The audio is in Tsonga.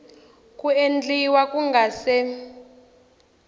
ku endliwa ku nga se